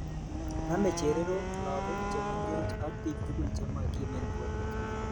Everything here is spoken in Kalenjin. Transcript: Name chererok ,lagok che mengech ,ak bik tugul che makimen borwek